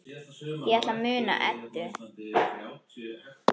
Ég ætla að muna Eddu.